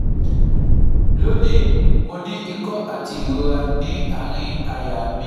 Loni, mo ní ìkó ati irora ni aarin àyà mi